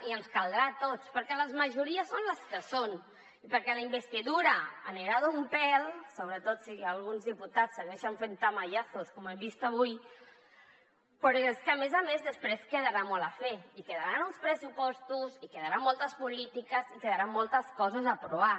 i ens caldrà a tots perquè les majories són les que són perquè la investidura anirà d’un pèl sobretot si alguns diputats segueixen fent tamayazos com hem vist avui però és que a més a més després quedarà molt per fer i quedaran uns pressupostos i quedaran moltes polítiques i quedaran moltes coses per aprovar